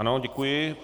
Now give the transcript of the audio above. Ano, děkuji.